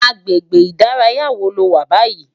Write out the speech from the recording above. Agbégbé idàráyá wó ló wá bàyí?